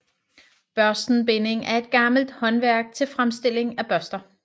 Børstenbinding er et gammelt håndværk til fremstilling af børster